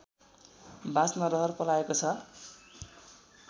बाँच्न रहर पलाएको छ